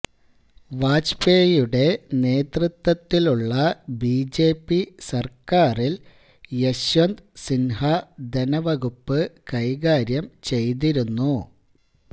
വാജ്പേയിയുടെ നേതൃത്വത്തിലുള്ള ബിജെപി സർക്കാരിൽ യശ്വന്ത് സിൻഹ ധനവകുപ്പ് കൈകാര്യം ചെയ്തിരുന്നു